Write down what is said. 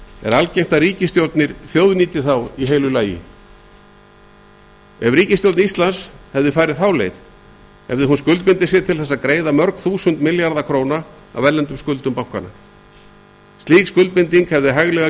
er algengt að ríkisstjórnir þjóðnýti þá í heilu lagi ef ríkisstjórn íslands hefði farið þá leið hefði hún skuldbundið sig til að greiða mörg þúsund milljarða króna af erlendum skuldum bankanna slík skuldbinding hefði hæglega